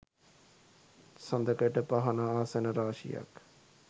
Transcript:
සඳකඩපහණ ආසන රාශියක්